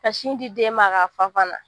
Ka sin di den ma k'a fa fana